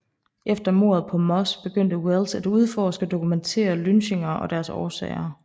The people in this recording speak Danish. Efter mordet på Moss begyndte Wells at udforske og dokumentere lynchninger og deres årsager